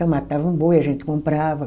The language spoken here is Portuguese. Então matava um boi, a gente comprava.